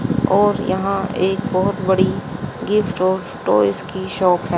और यहां एक बहोत बड़ी गिफ्ट स्टोर और टॉयज की शॉप है।